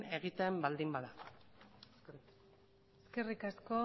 egiten baldin bada eskerrik asko